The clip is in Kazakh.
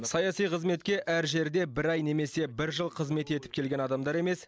саяси қызметке әр жерде бір ай немесе бір жыл қызмет етіп келген адамдар емес